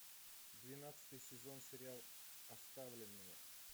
двенадцатый сезон сериал оставленные